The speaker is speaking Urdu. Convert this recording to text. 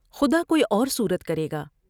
خدا کوئی اور صورت کرے گا ۔